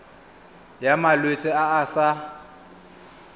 ya malwetse a a sa